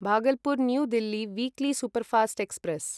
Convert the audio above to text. Bhagalpur New Delhi weekly superfast express